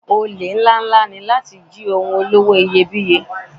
Olè ńláǹlà ní jíjí àwọn ohun olówó iyebíye.